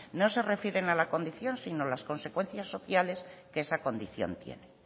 no se refieren a la condición sino las consecuencias sociales que esa condición tiene